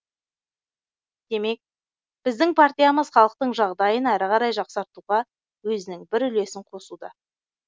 демек біздің партиямыз халықтың жағдайын әрі қарай жақсартуға өзінің бір үлесін қосуда